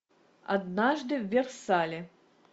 однажды в версале